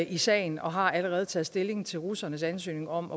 i sagen og har allerede taget stilling til russernes ansøgning om